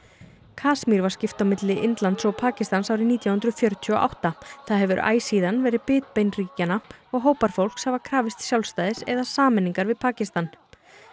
Kasmír var skipt á milli Indlands og Pakistans árið nítján hundruð fjörutíu og átta það hefur æ síðan verið bitbein ríkjanna og hópar fólks hafa krafist sjálfstæðis eða sameiningar við Pakistan